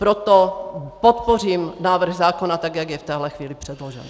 Proto podpořím návrh zákona, tak jak je v téhle chvíli předložen.